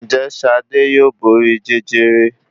Ǹ jé Ṣadé yóò borí Jẹjẹrẹ?